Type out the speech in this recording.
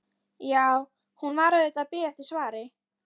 Jú, hún var auðvitað að bíða eftir svari.